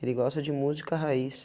Ele gosta de música raiz.